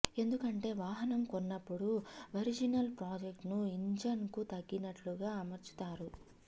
ఎందుకంటే వాహనం కొన్నప్పుడు ఒరిజినల్ ప్రొడక్ట్స్ ను ఇంజిన్ కు తగినట్లుగా అమర్చుతారు